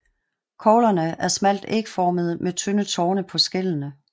Koglerne er smalt ægformede med tynde torne på skællene